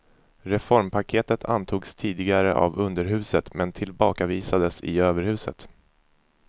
Reformpaketet antogs tidigare av underhuset men tillbakavisades i överhuset.